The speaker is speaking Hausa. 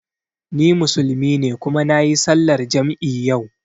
Ni Musulmi ne kuma nayi sallar jam'i yau